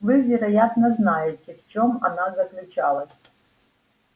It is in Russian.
вы вероятно знаете в чём она заключалась